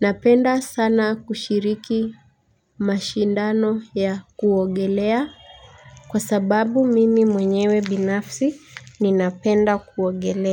Napenda sana kushiriki mashindano ya kuogelea. Kwa sababu mimi mwenyewe binafsi ninapenda kuogelea.